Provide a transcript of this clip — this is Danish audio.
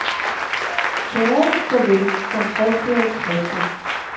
Tørret så vel som frisklavet pasta.